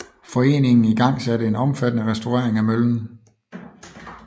Foreningen ingangsatte en omfattende restauring af møllen